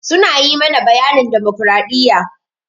Su na yi mana bayanin damokradiyya.